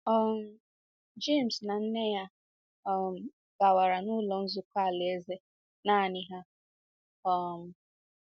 um James na nne ya um gawara n’Ụlọ Nzukọ Alaeze nanị ha. um